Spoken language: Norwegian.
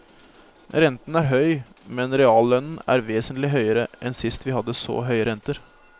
Renten er høy, men reallønnen er vesentlig høyere enn sist vi hadde så høye renter.